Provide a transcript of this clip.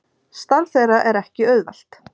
Starf þeirra er ekki auðvelt